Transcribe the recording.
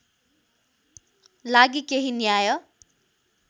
लागि केही न्याय